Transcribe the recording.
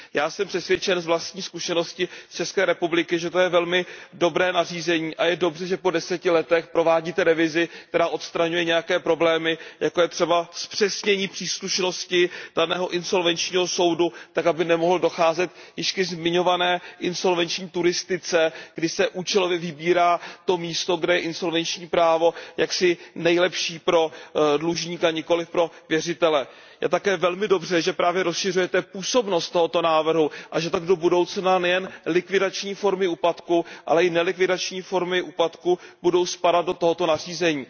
Já jsem přesvědčen z vlastní zkušenosti z České republiky, že to je velmi dobré nařízení a je dobře, že po deseti letech provádíte revizi, která odstraňuje některé problémy, jako je třeba zpřesnění příslušnosti daného insolvenčního soudu tak, aby nemohlo docházet k již zmiňované insolvenční turistice, kdy se účelově vybírá to místo, kde je insolvenční právo jaksi nejlepší pro dlužníka, nikoliv pro věřitele. Je také velmi dobře, že právě rozšiřujete působnost tohoto návrhu a že tak do budoucna nejen likvidační formy úpadku, ale i nelikvidační formy úpadku budou spadat do tohoto nařízení.